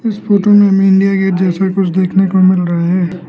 इस फोटो में India gate जैसा कुछ देखने को मिल रहा है।